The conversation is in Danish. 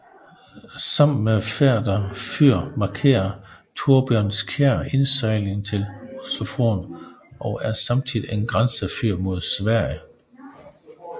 Sammen med Færder fyr markerer Torbjønskjær indsejlingen til Oslofjorden og er samtidig et grænsefyr mod Sverige